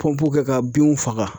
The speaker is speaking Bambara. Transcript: kɛ ka binw faga.